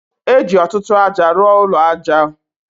E ji ọtụtụ aja rụọ ụlọ aja o.